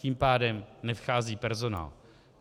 Tím pádem nevchází personál.